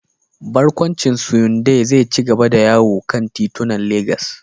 Barkwancin Syunday zai ci gaba da yawo a kan titunan Legas.